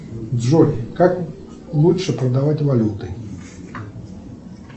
джой как лучше продавать валюту